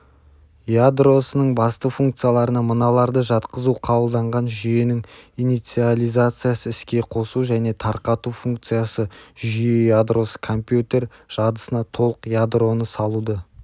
ядросының басты функцияларына мыналарды жатқызу қабылданған жүйенің инициализациясы іске қосу және тарқату функциясыжүйе ядросы компьютер жадысына толық ядроны салуды